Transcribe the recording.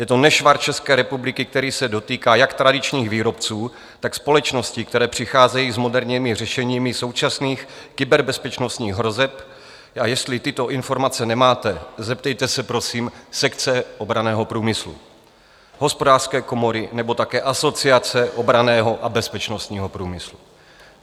Je to nešvar České republiky, který se dotýká jak tradičních výrobců, tak společností, které přicházejí s moderními řešeními současných kyberbezpečnostních hrozeb, a jestli tyto informace nemáte, zeptejte se, prosím, sekce obranného průmyslu, Hospodářské komory nebo také Asociace obranného a bezpečnostního průmyslu.